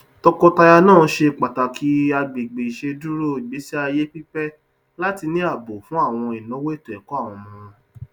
tọkọtaya náà ṣe pàtàkì àgbègbè iṣeduro ìgbésíayé pípe láti ní ààbò fún àwọn ìnáwó ètòẹkọ àwọn ọmọ wọn